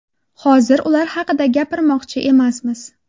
Hozir ular haqida gapirmoqchi emasmiz.